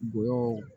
Gugoyanw na